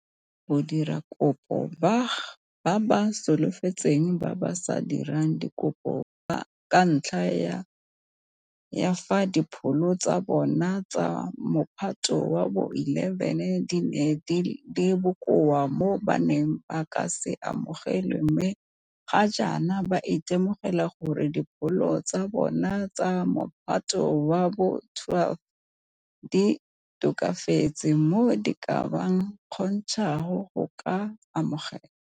Badiradikopo ba ba solofetsang ba ba sa dirang dikopo ka ntlha ya fa dipholo tsa bona tsa Mophato wa bo 11 di ne di le bokoa mo ba neng ba ka se amogelwe mme ga jaana ba itemogela gore dipholo tsa bona tsa Mophato wa bo 12 di tokafetse mo di ka ba kgontshang go ka amogelwa.